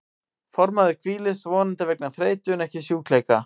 Fornmaður hvílist, vonandi vegna þreytu en ekki sjúkleika.